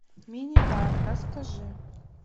мини бар расскажи